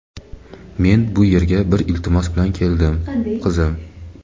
Men bu yerga bir iltimos bilan keldim, qizim.